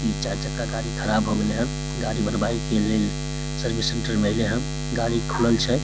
इ चार चक्का गाड़ी खराब हो गइले हन गाड़ी बनवावे के लेल सर्विस सेण्टर में आइलै हन गाड़ी खुलल छै।